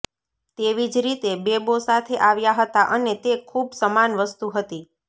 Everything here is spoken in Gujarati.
તેવી જ રીતે બેબો સાથે આવ્યા હતા અને તે ખૂબ સમાન વસ્તુ હતી